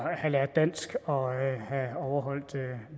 have lært dansk og have overholdt